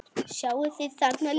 Sjáið þið þarna líka?